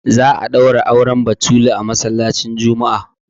za a daura auren batulu a masallacin Juma'a